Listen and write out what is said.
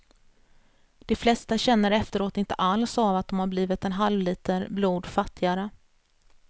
De flesta känner efteråt inte alls av att de blivit en halvliter blod fattigare.